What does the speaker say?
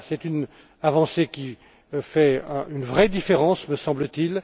Voilà, c'est une avancée qui fait une vraie différence, me semble t